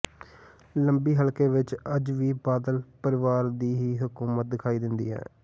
ਲੰਬੀ ਹਲਕੇ ਵਿੱਚ ਅੱਜ ਵੀ ਬਾਦਲ ਪਰਿਵਾਰ ਦੀ ਹੀ ਹਕੂਮਤ ਦਿਖਾਈ ਦਿੰਦੀ ਐ